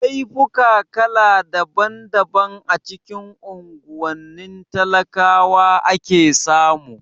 Laifuka kala daban daban a cikin unguwannin talakawa ake samu